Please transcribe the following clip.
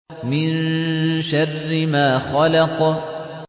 مِن شَرِّ مَا خَلَقَ